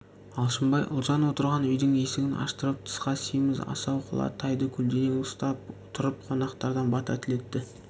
алшынбай ұлжан отырған үйдің есігін аштырып тысқа семіз асау құла тайды көлденең ұстап тұрып қонақтардан бата тілетті